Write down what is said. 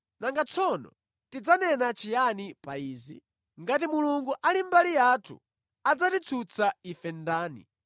Nanga tsono tidzanena chiyani pa izi? Ngati Mulungu ali mbali yathu, adzatitsutsa ife ndani?